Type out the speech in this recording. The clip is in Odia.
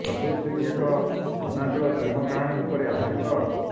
କବିର ସିଂ ଏକ ଅନାବିଳ ପ୍ରେମ କାହାଣୀ ଉପରେ ଆଧାରିତ